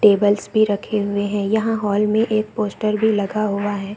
Tables भी रखे हुए है यहां हॉल मे एक पोस्टर भी लगा हुआ है।